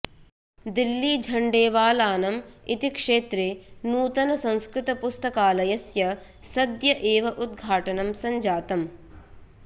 दिल्ली झण्डेवालानम् इति क्षेत्रे नूतन संस्कृत पुस्तकालस्य सद्य एव उद्घाटनं संजातम्